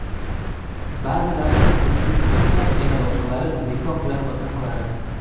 Ba’zilari o‘tkinchi bo‘lsa, yana boshqalari nikoh bilan mustahkamlanadi.